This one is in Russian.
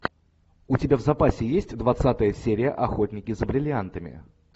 у тебя в запасе есть двадцатая серия охотники за бриллиантами